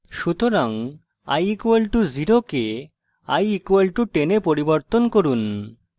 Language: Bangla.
সুতরাং i = 0 কে i = 10 এ পরিবর্তন করুন